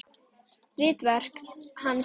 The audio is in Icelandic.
Ritverk hans eru